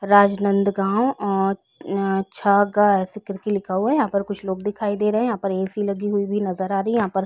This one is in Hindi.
राजनंद गांव ओर छग ऐसे करके लिखा हुआ है यहां पर कुछ लोग दिखाई दे रहे हैं यहां पर ए_सी लगी हुई भी नजर आ रही है यहां पर।